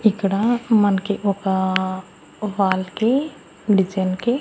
ఇక్కడ మన్కి ఒక వాల్ కి డిజైన్ కి--